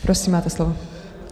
Prosím, máte slovo.